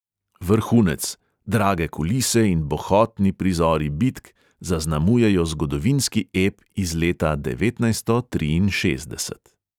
Vrhunec: drage kulise in bohotni prizori bitk zaznamujejo zgodovinski ep iz leta devetnajststo triinšestdeset.